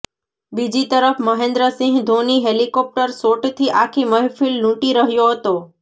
બીજી તરફ મહેન્દ્રસિંહ ધોની હેલિકોપ્ટર શોટથી આખી મહેફિલ લૂંટી રહ્યો હતો